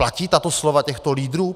Platí tato slova těchto lídrů?